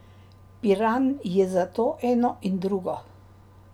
Piran je zato eno in drugo!